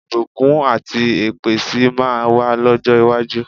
Ìbùkún àti èpè sì máa wà lọ́jọ́ iwájú.